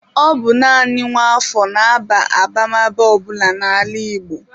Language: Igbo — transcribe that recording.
Ọ bụ naanị nwa afọ na-aba abamaba ọ bụla n'ala Igbo.